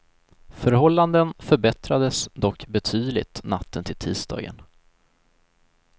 Förhållanden förbättrades dock betydligt natten till tisdagen.